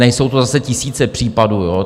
Nejsou to zase tisíce případů.